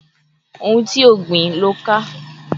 Ohun ti o gbìn lo ká